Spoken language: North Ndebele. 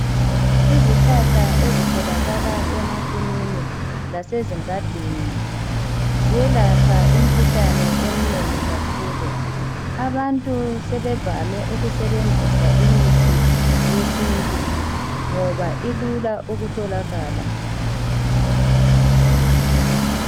Izihlahla ezitholakala emasimini lasezingadini ziyelapha imkhuhlane eminengi kakhulu. Abantu sebevame ukubenzisa imithi yesintu ngoba ilula ukutholalaka.